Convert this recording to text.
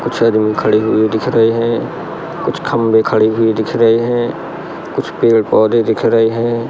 कुछ आदमी खड़ी हुए दिख रहे हैं कुछ खंभे खड़ी हुई दिख रहे हैं कुछ पेड़-पौधे दिख रहे हैं।